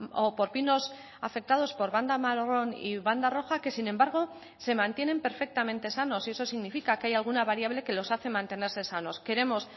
o por pinos afectados por banda marrón y banda roja que sin embargo se mantienen perfectamente sanos y eso significa que hay alguna variable que los hace mantenerse sanos queremos